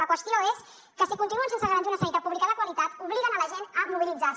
la qüestió és que si continuen sense garantir una sanitat pública de qualitat obliguen la gent a mobilitzar se